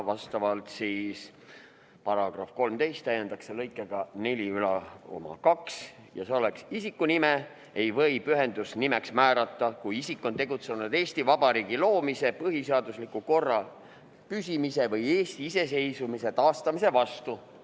Esiteks, § 13 täiendatakse lõikega 42 järgmises sõnastuses: "Isikunime ei või pühendusnimeks määrata, kui isik on tegutsenud Eesti Vabariigi loomise, põhiseadusliku korra püsimise või Eesti iseseisvumise taastamise vastu.